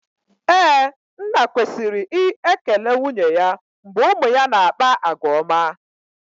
Ee, nna kwesiri i ekele nwunye ya mgbe ụmụ ya na-akpa àgwà ọma